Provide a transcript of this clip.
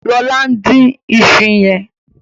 lọla ǹ dín iṣu yen.